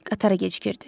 Qatara gecikirdi.